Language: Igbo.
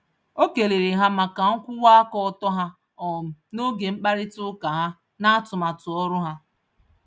Okelere ha màkà nkwụwa-aka-ọtọ ha, um n'oge mkparita ụka ha, natụmatu ọrụ ahu.